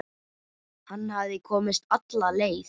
Hann hafði komist alla leið!